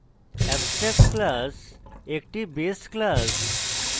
abstract class একটি base class